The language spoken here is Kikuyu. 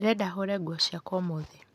Ndĩrenda hũre nguo ciakwa ũmũthĩ